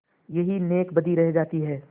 यही नेकबदी रह जाती है